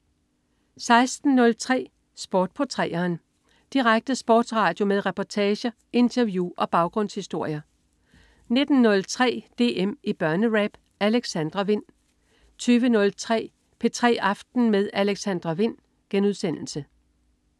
16.03 Sport på 3'eren. Direkte sportsradio med reportager, interview og baggrundshistorier 19.03 DM i Børnerap. Alexandra Wind 20.03 P3 aften med Alexandra Wind*